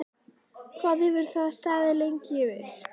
Hvað hefur það staðið lengi yfir?